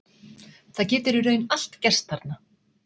Það getur í raun allt gerst þarna.